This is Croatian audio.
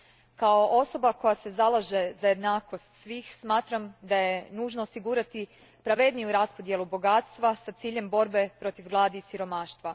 Kao osoba koja se zalaže za jednakost svih smatram da je nužno osigurati pravedniju raspodjelu bogatstva s ciljem borbe protiv gladi i siromaštva.